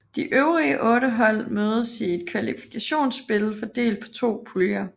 De øvrige 8 hold mødes i et kvalifikationsspil fordelt på to puljer